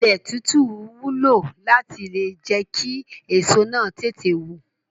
Ilẹ̀ títú wúlò láti le jẹ́ kí èso náà tètè wù.